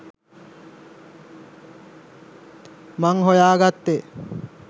මං හොයාගත්තේ